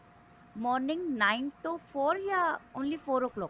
morning nine ton four ਯਾ only four o clock